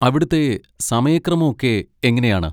അവിടുത്തെ സമയക്രമം ഒക്കെ എങ്ങനെയാണ്?